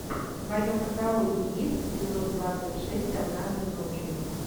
в твоем каталоге есть эпизод двадцать шесть однажды ночью